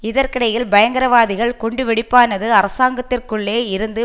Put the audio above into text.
இதற்கிடையில் பயங்கரவாதிகள் குண்டுவெடிப்பானது அரசாங்கத்திற்குள்ளே இருந்து